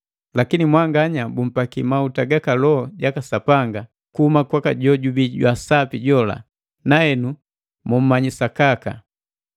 Lakini mwanganya, bumpakiki mauta gaka Loho jaka Sapanga kuhuma kwaka jojubii jwaa Sapi jola, na henu muumanyi usakaka.